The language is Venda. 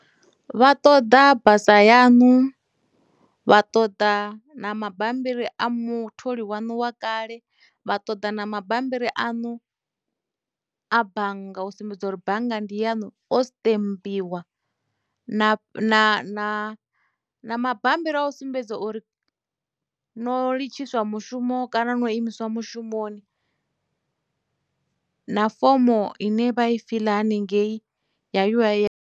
Vha ṱoḓa basa yanu, vha ṱoḓa na mabambiri a mutholi waṋu wa kale vha ṱoḓa na mabammbiri aṋu a bannga u sumbedza uri bannga ndi yaṋu o sṱembiwa na mabambiri a u sumbedza uri no litshiswa mushumo kana no imiswa mushumoni na fomo ine vha i fiḽa haningei ya U_I_F.